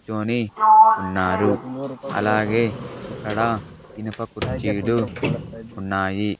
కూర్చొని ఉన్నారు అలాగే ఇక్కడ ఇనుప కుర్చీలు ఉన్నాయి.